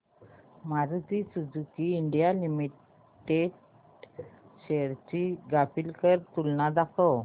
Maruti Suzuki India limited shares ची graphical तुलना दाखव